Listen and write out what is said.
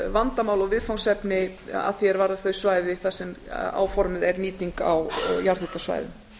vandamál og viðfangsefni að því er varðar þau svæði þar sem áformuð er nýting á jarðhitasvæðum